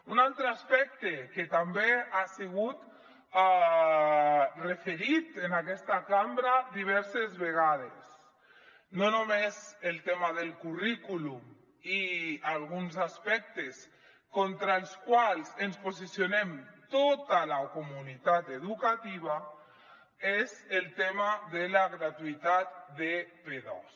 un altre aspecte que també ha sigut referit en aquesta cambra diverses vegades no només el tema del currículum i alguns aspectes contra els quals ens posicionem tota la comunitat educativa és el tema de la gratuïtat de p2